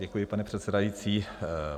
Děkuji, pane předsedající.